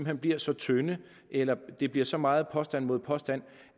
hen bliver så tynde eller det bliver så meget påstand mod påstand